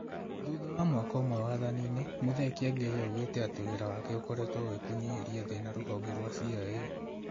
Thutha wa mwaka ũmwe wathani-inĩ, Muthee Kiengei augĩte atĩ wĩra wake ũkoretwo wĩ wa kũnyihĩria thĩna rũhonge rwa CIA